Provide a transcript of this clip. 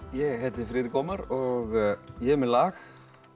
ég heiti Friðrik Ómar og ég er með lag